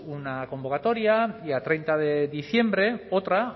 una convocatoria y a treinta de diciembre otra